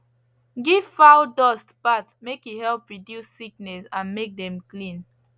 give fowl dust bath make e help reduce sickness and make dem clean